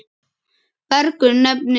Bergur nefnir tvö.